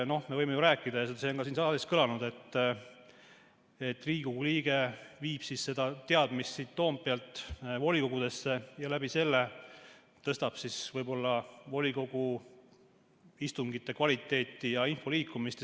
Me võime ju rääkida, see on ka siin saalis kõlanud, et Riigikogu liige viib seda teadmist siit Toompealt volikogudesse ja läbi selle tõstab võib-olla volikogu istungite kvaliteeti ja parandab info liikumist.